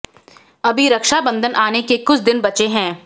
अभी रक्षा बंधन आने के कुछ दिन बचे हैं